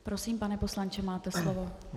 Prosím, pane poslanče, máte slovo.